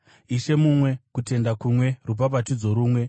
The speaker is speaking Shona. Ishe mumwe, kutenda kumwe, rubhabhatidzo rumwe;